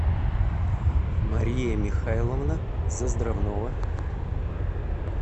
мария михайловна заздравнова